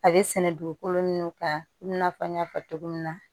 A bɛ sɛnɛ dugukolo min kan i n'a fɔ n y'a fɔ cogo min na